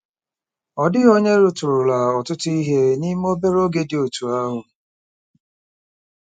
Ọ dịghị onye rụtụrụla ọtụtụ ihe n'ime obere oge dị otú ahụ.